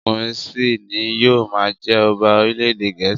Ọkùnrin sì ni yóò máa jẹ ọba orílẹ̀ èdè Gẹ̀ẹ́sì.